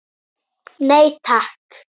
Já, nú mundi ég það.